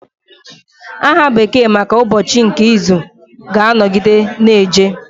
Aha bekee maka ụbọchị nke izu ga-anọgide na-eji